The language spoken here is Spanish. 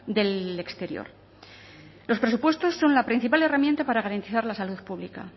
del exterior los presupuestos son la principal herramienta para garantizar la salud pública